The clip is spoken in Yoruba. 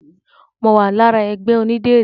Mo wà lára ẹgbẹ́ onídìrí.